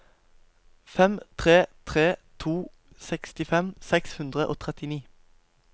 fem tre tre to sekstifem seks hundre og trettini